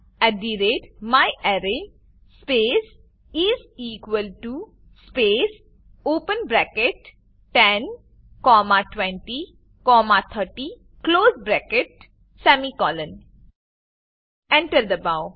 at the rate my array space is equal to space open bracket ten comma twenty comma thirty close bracket semicolon Enter દબાવો